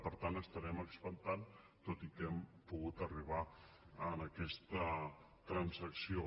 per tant estarem expectants tot i que hem pogut arribar a aquesta transacció